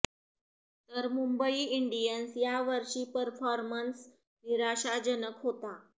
तर मुंबई इंडियन्स या वर्षी परफॉर्मन्स निराशाजनक होता